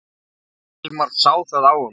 Hilmar sá það á honum.